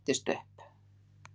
Hún spennist upp.